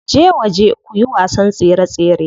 Je waje kuyi wasan tsere tsere.